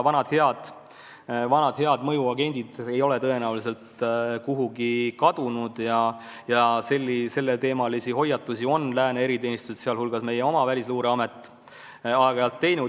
Vanad head mõjuagendid ei ole tõenäoliselt kuhugi kadunud ja selleteemalisi hoiatusi on lääne eriteenistused, sh meie oma Välisluureamet, aeg-ajalt teinud.